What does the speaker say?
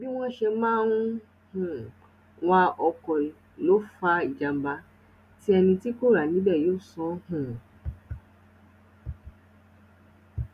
bí wọn sì ṣe máa ń um wa ọkọ lè fa ìjàmbá tí ẹni tí kò rà níbẹ yóò san um